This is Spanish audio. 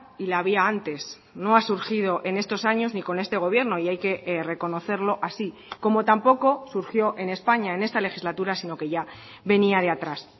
y la había antes no ha surgido en estos años ni con este gobierno y hay que reconocerlo así como tampoco surgió en españa en esta legislatura sino que ya venía de atrás